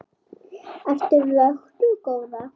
Ertu vöknuð góða?